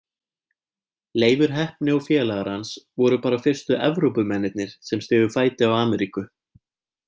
Leifur heppni og félagar hans voru bara fyrstu Evrópumennirnir sem stigu fæti á Ameríku.